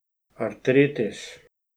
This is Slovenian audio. Artritis.